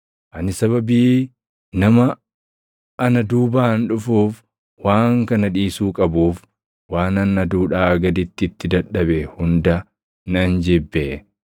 Ani sababii nama ana duubaan dhufuuf waan kana dhiisuu qabuuf, waanan aduudhaa gaditti itti dadhabe hunda nan jibbe.